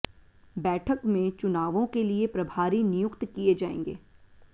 बैठक में चुनावों के लिए प्रभारी नियुक्त किए जाएंगे